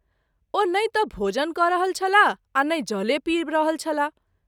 ओ नहिं त’ भोजन क’रहल छलाह आ नहिं जले पीब रहल छलाह।